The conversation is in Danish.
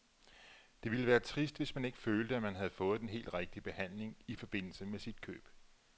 Det ville være trist, hvis man ikke følte, at man havde fået den helt rigtige behandling i forbindelse med sit køb.